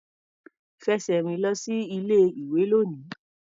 Fẹsẹ̀ rìn lọ sí ilé-ìwé lónìí.